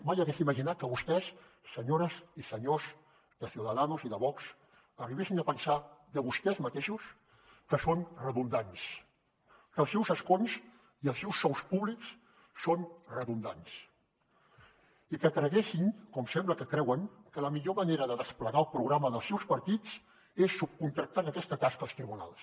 mai hagués imaginat que vostès senyores i senyors de ciudadanos i de vox arribessin a pensar de vostès mateixos que són redundants que els seus escons i els seus sous públics són redundants i que creguessin com sembla que creuen que la millor manera de desplegar el programa dels seus partits és subcontractant aquesta tasca als tribunals